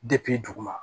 duguma